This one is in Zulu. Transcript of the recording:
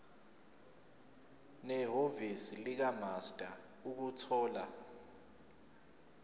nehhovisi likamaster ukuthola